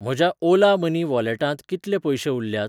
म्हज्या ओला मनी वॉलेटांत कितले पयशें उरल्यात?